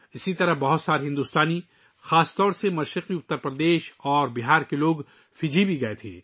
اسی طرح بہت سے بھارتی، خاص طور پر مشرقی اتر پردیش اور بہار کے لوگ بھی فجی گئے تھے